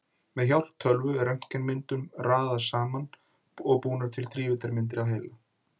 Með hjálp tölvu er röntgenmyndunum raðað saman og búnar til þrívíddarmyndir af heila.